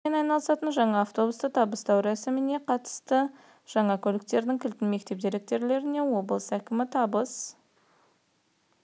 тасымалдаумен айналысатын жаңа автобусты табыстау рәсіміне қатысты жаңа көліктердің кілтін мектеп директорларына облыс әкімі табыс